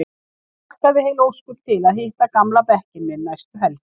Ég hlakkaði heil ósköp til að hitta gamla bekkinn minn næstu helgi.